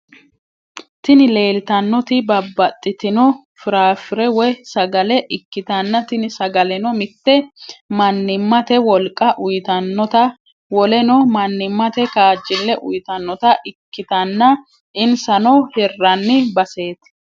Tini lelitanoti babatitino firafire woy sagale ikitana tini sagaleno mitte manimate woliqqa uyitanota woleno manimate kajile uyitanota ikitana inisano hirranni basset.